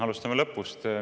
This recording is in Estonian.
Alustame lõpust.